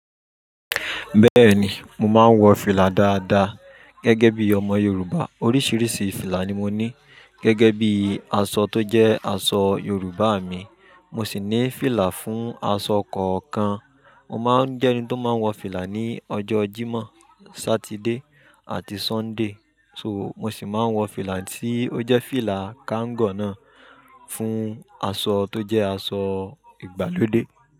Bẹ́ẹ̀ni, mo máa ń wọ fìlà dáadáa gẹ́gẹ́ bí ọmọ Yorùbá. Ọrísìrísìí fìlà ni mọ ní gégé bí aṣọ tó jé aṣọ yọrùbá mi Mo sì ní fìlà fún aṣọ kọ̀ọ̀kan. Mo máa ń jẹ́ ẹni tó máa ń wọ fìlà ní ọjọ́ Jímọ̀, Saturday àti Sunday. So, mo sì máa ń wọ fìlà tí ó jẹ́ fìlà kango náà fún aṣọ tó jẹ́ aṣọ ìgbàlódé.